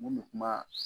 Mun bɛ kuma